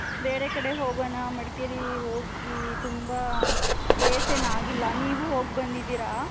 ಬೇರೆ ಕಡೆ ಹೋಗೋಣ ಮಡಕೇರಿ ಹೋಗಿ ತುಂಬಾ days ಎನ್ ಆಗಿಲ್ಲ ನೀವಿ ಹೋಗ್ ಬಂದಿದಿರ .